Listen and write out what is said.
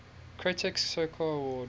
critics circle award